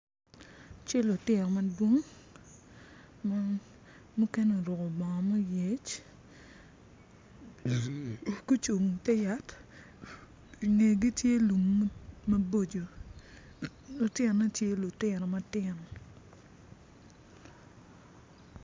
Cal lutino madwong ma mukene oruko bongo ma oyec gucung i te yat i ngegi tye lum maboco lutinone tye lutino matino.